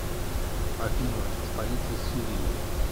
афина столица сирии